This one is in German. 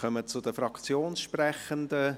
Wir kommen zu den Fraktionssprechenden.